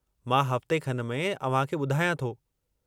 मां हफ़्ते खन में अव्हांखे ॿुधायां थो।